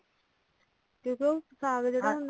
ਕਿਉਂਕਿ ਉਸ ਸਾਗ ਤੇ ਉਹ ਜਿਹੜਾ ਸਾਗ ਹੁੰਦਾ ਨਾ